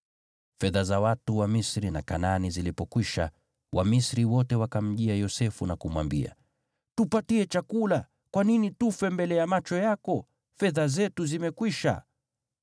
Fedha za watu wa Misri na Kanaani zilipokwisha, Wamisri wote wakamjia Yosefu na kumwambia, “Tupatie chakula. Kwa nini tufe mbele ya macho yako? Fedha zetu zimekwisha.”